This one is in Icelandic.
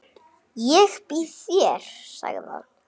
Ég býð þér, sagði hann.